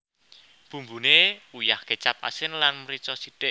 Bumbune uyah kecap asin lan mrica sithik